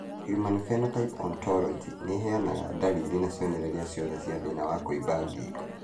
Human Phenotype Ontology ĩheanaga ndariri na cionereria ciothe cia thĩna wa kũimba ngingo